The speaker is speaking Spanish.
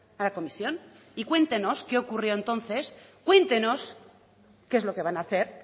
a la comisión y cuéntenos qué ocurrió entonces cuéntenos qué es lo que van a hacer